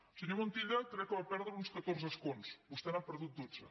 el senyor montilla crec que va perdre uns catorze escons vostè n’ha perdut dotze